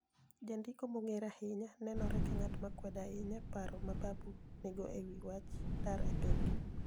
Janidiko ma ni e onig'ere ahiniya ni e oni enore ka nig'at ma kwedo ahiniya paro ma Babu ni e niigo e wi wach dar e piniygi.